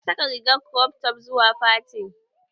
Ta saka rigar krof tof zuwa fatin